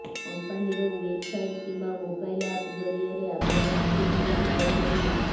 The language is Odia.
କମ୍ପାନୀର ୱେବସାଇଟ୍ କିମ୍ବା ମୋବାଇଲ୍ ଆପ୍ ଜରିଆରେ ଆପଣ ଟିକେଟ୍ ବୁକ କରିପାରିବେ